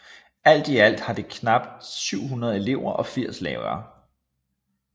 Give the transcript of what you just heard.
I alt har det knap 700 elever og 80 lærere